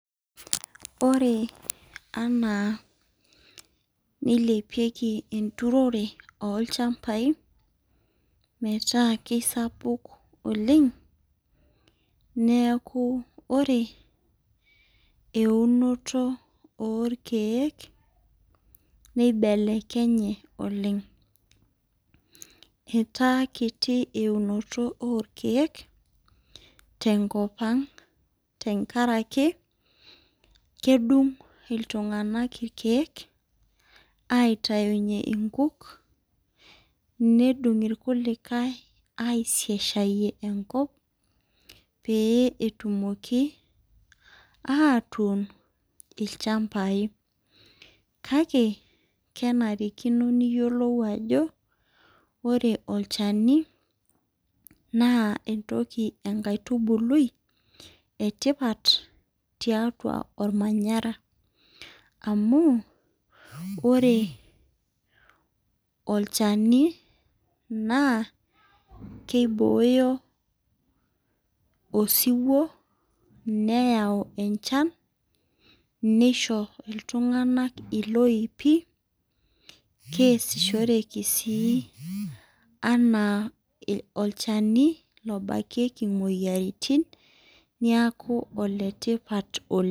ore anaa neilepiki enturore olchampai. metaa kisapuk oleng, neeku ore eunoto oolkeek, neibelekenye oleng. etaa kiti eunoto olkeek. tenkop ang, tenakaraki kedung iltunganak irkeek, aitayunye nkuk. nedung ikulikae aisaishayie enkop. peyie etumoki atuun ilchampai. kake kenarikino niyiolou ajo, ore olchani naa enkaitubului e tipat tiataua olmanayara. amu ore olcani naa kibooyo osiwuo. neyau enchan. nisho iltunganak iloipi. keesishoreki sii anaa olchani lobakiki imoyiaritin, neeku ole tipat oleng.